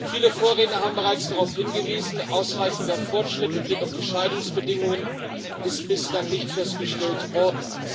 Viele Vorredner haben bereits darauf hingewiesen Ein ausreichender Fortschritt mit Blick auf die Scheidungsbedingungen ist bislang nicht festgestellt worden.